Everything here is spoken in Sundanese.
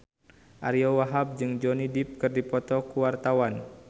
Ariyo Wahab jeung Johnny Depp keur dipoto ku wartawan